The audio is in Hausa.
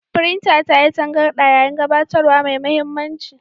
Firintar ta yi tangarɗa yayin gabatarwa mai mahimmanci.